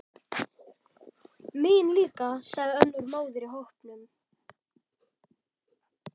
Mín líka, sagði önnur móðir í hópnum.